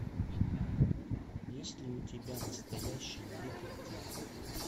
есть ли у тебя настоящий детектив